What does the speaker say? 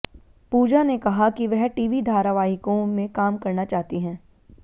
पूजा ने कहा कि वह टीवी धारावाहिकों में काम करना चाहती हैं